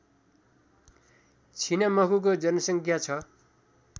छिनमखुको जनसङ्ख्या छ